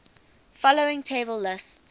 following table lists